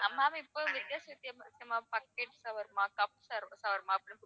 ma'am இப்ப வித்தியாச வித்தியாசமா pocket shawarma cup shawarma அப்படின்னு